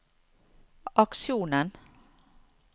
aksjonen